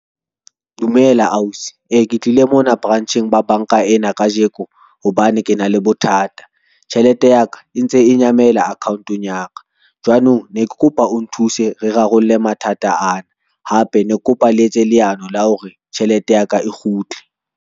Dumela ausi, e ke tlile mona branch-eng ba banka ena kajeko hobane ke na le bothata. Tjhelete ya ka e ntse e nyamela account-ong ya ka, jwanong ne ke kopa o nthuse re rarolle mathata ana hape ne ke kopa le etse leano la hore tjhelete ya ka e kgutle.